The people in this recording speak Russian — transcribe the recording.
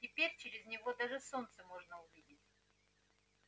теперь через него даже солнце можно увидеть